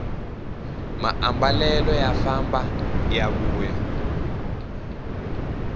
maambalelo ya famba ya vuya